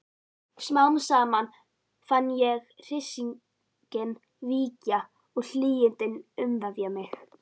Smám saman fann ég hryssinginn víkja og hlýindin umvefja mig.